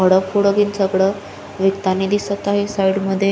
विकताणी दिसत आहेत साइड मध्ये --